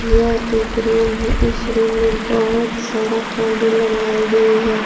यह एक रूम है इस रूम में बहुत सारा पर्दे लगाई गई है।